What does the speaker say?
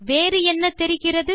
வேறு என்ன தெரிகிறது